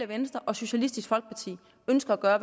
venstre og socialistisk folkeparti ønsker at gøre